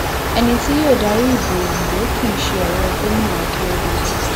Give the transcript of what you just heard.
ẹni tí yóò darí ìbò òǹdó kì í ṣe ọrẹ gómìnà akérèdọlù